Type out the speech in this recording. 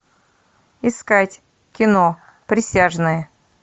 искать кино присяжные